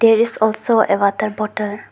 There is also a water bottle.